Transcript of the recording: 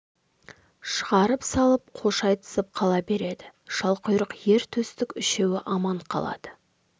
шығарып салып қош айтысып қала береді шалқұйрық ер төстік үшеуі аман қалады